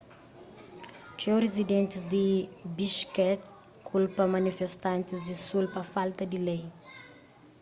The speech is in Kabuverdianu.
txeu rizidentis di bishkek kulpa manifestantis di sul pa falta di lei